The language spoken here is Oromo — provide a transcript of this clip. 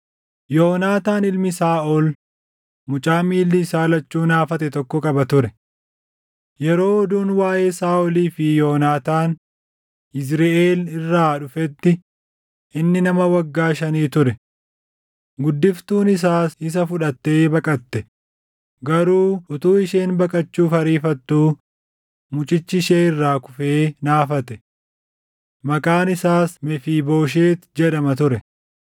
Yoonaataan ilmi Saaʼol mucaa miilli isaa lachuu naafate tokko qaba ture. Yeroo oduun waaʼee Saaʼolii fi Yoonaataan Yizriʼeel irraa dhufetti inni nama waggaa shanii ture. Guddiftuun isaas isa fudhattee baqatte; garuu utuu isheen baqachuuf ariifattuu mucichi ishee irraa kufee naafate. Maqaan isaas Mefiibooshet jedhama ture.